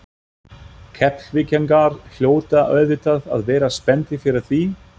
Keflvíkingar hljóta auðvitað að vera spenntir fyrir því?